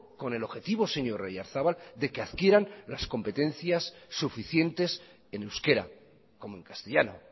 con el objetivo señor oyarzabal de que adquieran las competencias suficientes en euskera como en castellano